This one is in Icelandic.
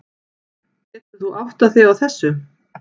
Getur þú áttað þig á þessu?